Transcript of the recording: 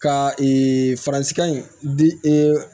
Ka ee faransikan in di ee